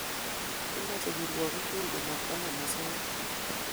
Kimache kirwakik tugul komatkonamosoya